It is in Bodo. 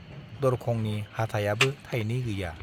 दरखंनि हाथाइयाबो थाइनै गैया।